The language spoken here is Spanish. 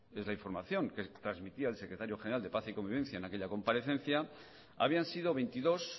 esa información que transmitía el secretario general de paz y convivencia en aquella comparecencia habían sido veintidós